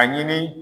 A ɲini